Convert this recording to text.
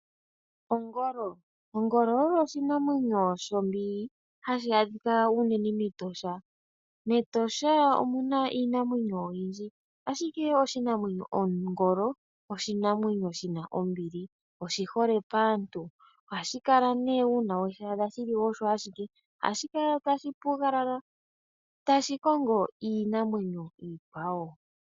Ongolo, ongolo oyo oshinamwenyo shombili hashi adhika unene mEtosha. MEtosha omu na iinamwenyo oyindji ashike oshinamwenyo Ongolo oshinamwenyo shina ombili oshihole paantu. Ohashi kala nee uuna weshi adha shili osho ashike ohashi kala tashi pugalala tashi kongo iinamwenyo iikwawo.